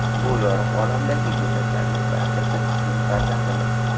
Bu yorug‘ olamdagi go‘daklarning barchasi bizning farzandimiz.